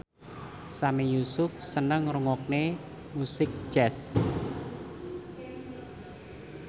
Sami Yusuf seneng ngrungokne musik jazz